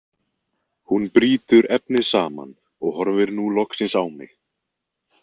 Hún brýtur efnið saman og horfir nú loksins á mig.